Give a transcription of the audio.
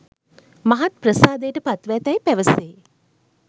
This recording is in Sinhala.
මහත් ප්‍රසාදයට පත්ව ඇතැයි පැවසේ.